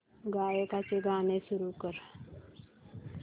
गायकाचे गाणे सुरू कर